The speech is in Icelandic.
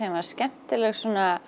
skemmtileg